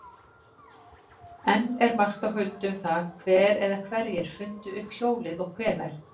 Enn er margt á huldu um það hver eða hverjir fundu upp hjólið og hvenær.